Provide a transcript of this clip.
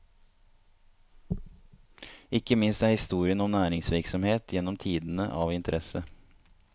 Ikke minst er historien om næringsvirksomhet gjennom tidene av interesse.